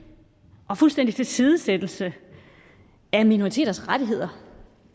og fuldstændig tilsidesættelse af minoriteters rettigheder